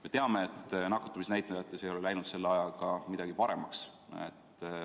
Me teame, et nakatumisnäitajad ei ole läinud selle ajaga paremaks.